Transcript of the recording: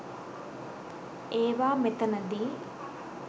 ඒවා මෙතනදි